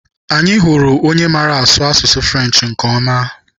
Anyị hụrụ onye maara asụ asụsụ French nke ọma.